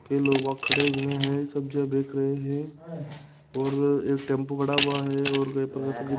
के लोग वहां खड़े हुए हैं सब्जियां देख रहे हैं और यह एक टेंपू खड़ा हुआ है और --